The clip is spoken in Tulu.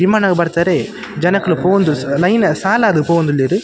ವಿಮಾನಗ್ ಬರ್ತಾರೆ ಜನೊಕುಲು ಪೋದು ಲೈನ್ ಸಾಲಾದ್ ಪೋವೊಂದುಲ್ಲೆರ್ .